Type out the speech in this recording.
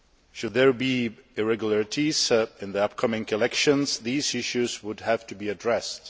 Should there be irregularities in the upcoming elections, these issues would have to be addressed.